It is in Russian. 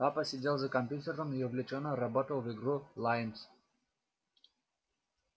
папа сидел за компьютером и увлечённо работал в игру лайнс